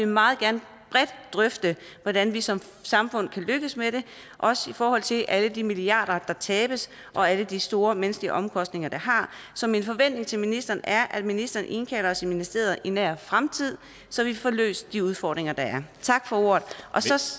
meget gerne bredt drøfte hvordan vi som samfund kan lykkes med det også i forhold til alle de milliarder der tabes og alle de store menneskelige omkostninger det har så min forventning til ministeren er at ministeren indkalder os i ministeriet i nær fremtid så vi får løst de udfordringer der er tak for ordet